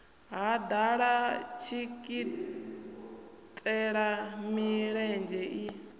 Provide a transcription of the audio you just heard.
ha ḓala dikitela milenzhe i